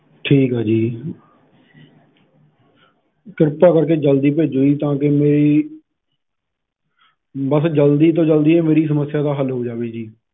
ਠੀਕ ਆ ਜੀ ਕਿਰਪਾ ਕਰਕੇ ਜਲਦੀ ਭੇਜੋ ਜੀ ਤਾਂ ਕੇ ਮੇਰੀ ਬੱਸ ਜਲਦੀ ਤੋਂ ਜਲਦੀ ਸਮੱਸਿਆ ਦਾ ਹੱਲ ਹੋ ਜਾਵੇ ਜੀ।